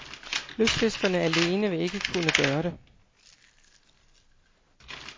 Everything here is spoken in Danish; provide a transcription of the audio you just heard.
Lystfiskerne alene vil ikke kunne gøre det.